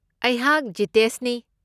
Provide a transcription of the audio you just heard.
ꯑꯩꯍꯥꯛ ꯖꯤꯇꯦꯁꯅꯤ꯫